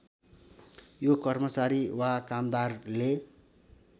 यो कर्मचारी वा कामदारले